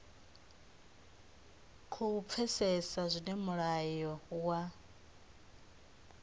khou pfesesa zwine mulayo wa